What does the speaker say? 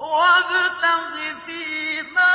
وَابْتَغِ فِيمَا